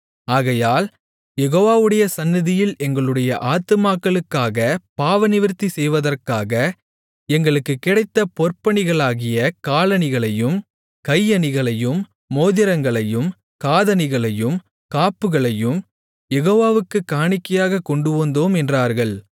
ஆகையால் யெகோவாவுடைய சந்நிதியில் எங்களுடைய ஆத்துமாக்களுக்காகப் பாவநிவிர்த்தி செய்வதற்காக எங்களுக்குக் கிடைத்த பொற்பணிகளாகிய காலணிகளையும் கை அணிகளையும் மோதிரங்களையும் காதணிகளையும் காப்புகளையும் யெகோவாவுக்குக் காணிக்கையாகக் கொண்டுவந்தோம் என்றார்கள்